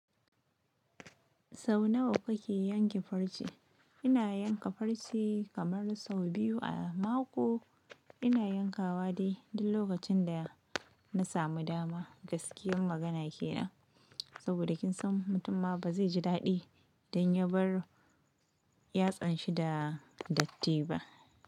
Sau nawa kuke yanke farce? Ina yanka farce kamar sau biyu a mako. Ina yankawa dai, duk lokacin da na samu dama. Gaskiyar magana kenan. Saboda kin san mutumma ba zai ji daɗi dan ya bar yatsan shi da datti ba.